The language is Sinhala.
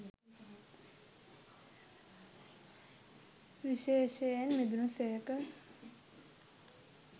විශේෂයෙන් මිදුණු සේක.